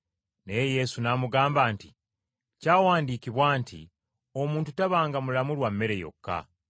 Naye Yesu n’amuddamu nti, “Kyawandiikibwa nti, ‘Omuntu taabenga mulamu lwa mmere yokka.’ ”